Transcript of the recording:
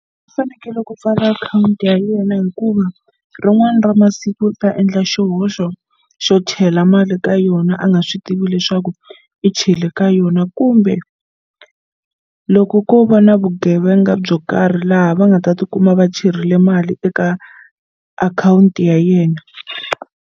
U fanekele ku pfala akhawunti ya yena hikuva rin'wana ra masiku u ta endla xihoxo xo chela mali ka yona a nga swi tivi leswaku i chele ka yona yona kumbe loko ko va na vugevenga byo karhi laha va nga ta tikuma va cherile mali eka akhawunti ya yena.